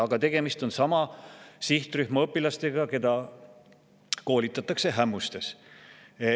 Aga tegemist on sama sihtrühma õpilastega, keda koolitatakse Ämmustes.